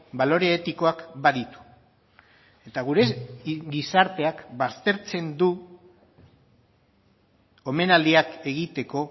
balore etikoak baditu eta gure gizarteak baztertzen du omenaldiak egiteko